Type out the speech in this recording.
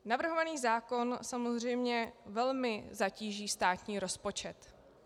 Navrhovaný zákon samozřejmě velmi zatíží státní rozpočet.